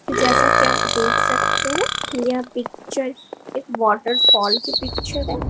जैसा कि आप देख सकते हैं यह पिक्चर एक वॉटरफॉल की पिक्चर है।